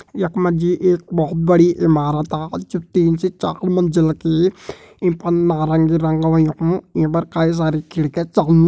यख मा जी एक बहोत बड़ी इमारता जु तीन से चार मंजिल की ईं पर नारंगी रंग होयुं ईं पर कई सारी खिड़की छन।